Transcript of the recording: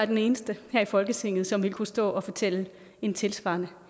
den eneste her i folketinget som ville kunne stå og fortælle en tilsvarende